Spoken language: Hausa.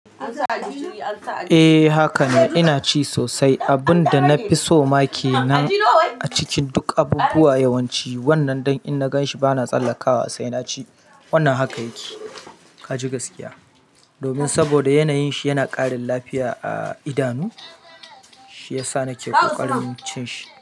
Eh haka ne, ina ci sosai. Abun da na fi so ma kenan a cikin duk abubuwa yawanci wannan dai in na gan shi ba na tsallaka wasai. Wannan haka yake, ka ji gaskiya. Domin saboda yanayin shi yana ƙarin lafiya a idanu, shiyasa nake ƙoƙarin cin shi.